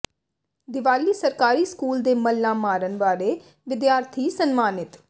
ਦੀਵਾਲੀ ਸਰਕਾਰੀ ਸਕੂਲ ਦੇ ਮੱਲਾਂ ਮਾਰਨ ਵਾਲੇ ਵਿਦਿਆਰਥੀ ਸਨਮਾਨਿਤ